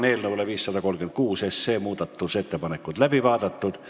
Eelnõu 536 muudatusettepanekud on läbi vaadatud.